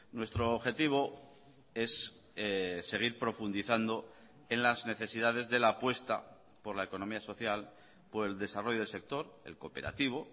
nuestro objetivo es seguir profundizando en las necesidades de la apuesta por la economía social por el desarrollo del sector el cooperativo